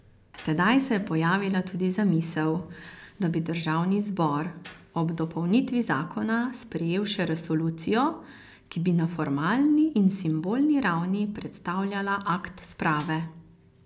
Tedaj se je pojavila tudi zamisel, da bi državni zbor ob dopolnitvi zakona sprejel še resolucijo, ki bi na formalni in simbolni ravni predstavljala akt sprave.